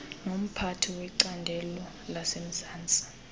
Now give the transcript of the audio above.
nomphathi wecandelo lasemzantsi